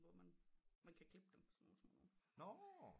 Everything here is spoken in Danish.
Hvor man kan klippe dem sådan nogen små nogen